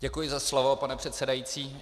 Děkuji za slovo, pane předsedající.